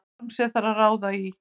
Form sem þarf að ráða í.